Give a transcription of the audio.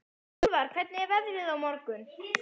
Úlfar, hvernig er veðrið á morgun?